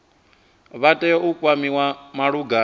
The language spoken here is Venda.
vha tea u kwamiwa malugana